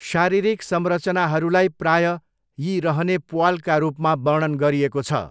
शारीरिक संरचनाहरूलाई प्रायः यी रहने प्वालका रूपमा वर्णन गरिएको छ।